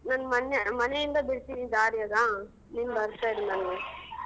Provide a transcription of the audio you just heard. ನನ್ ಮನೆ ಮನೆಯಿಂದ ಬಿಡ್ತೀನಿ ದಾರಿಯಾಗ ನೀನ್ ಬರ್ತಾ ಇರು ನಂಗೆ.